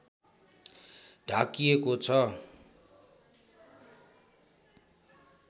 ढाकिएको छ